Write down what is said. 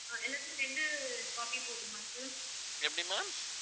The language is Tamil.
எப்படி ma'am